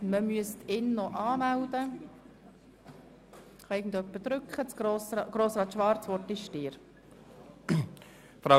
Jemand sollte ihn noch auf der Rednerliste eintragen.